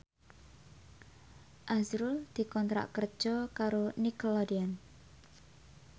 azrul dikontrak kerja karo Nickelodeon